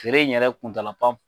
Feere in yɛrɛ kuntala